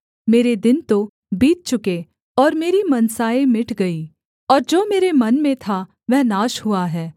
मेरे दिन तो बीत चुके और मेरी मनसाएँ मिट गई और जो मेरे मन में था वह नाश हुआ है